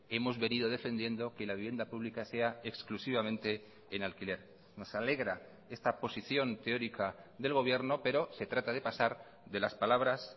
hemos venido defendiendo que la vivienda pública sea exclusivamente en alquiler nos alegra esta posición teórica del gobierno pero se trata de pasar de las palabras